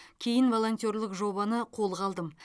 кейін волонтерлік жобаны қолға алдым